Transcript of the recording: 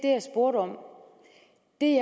det